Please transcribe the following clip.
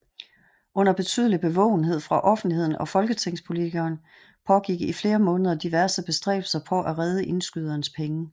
Under betydelig bevågenhed fra offentligheden og folketingspolitikerne pågik i flere måneder diverse bestræbelser på at redde indskydernes penge